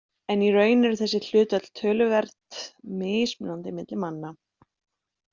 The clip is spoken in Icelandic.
En í raun eru þessi hlutföll töluvert mismunandi milli manna.